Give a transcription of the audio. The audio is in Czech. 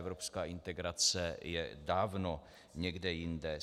Evropská integrace je dávno někde jinde.